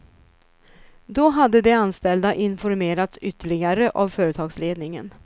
Då hade de anställda informerats ytterligare av företagsledningen.